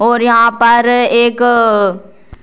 और यहां पर एक --